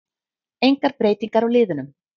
Engar breytingar á liðunum